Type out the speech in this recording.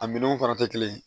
A minɛnw fana tɛ kelen ye